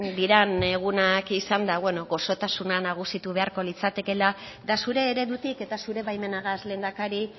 diren egunak izanda beno gozotasuna nagusitu beharko litzatekela eta zure eredutik eta zure baimenagaz lehendakari